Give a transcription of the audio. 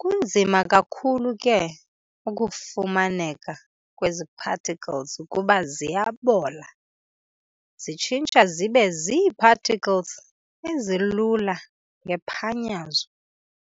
Kunzima kakhulu ke ukufumaneka kwezi particles kuba ziyabola, zitshintsha zibe zii-particles ezilula, ngephanyazo.